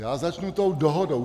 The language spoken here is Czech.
Já začnu tou dohodou.